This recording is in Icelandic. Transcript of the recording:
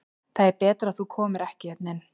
Það er betra að þú komir ekki hérna inn.